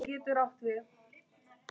Það þarf annað til.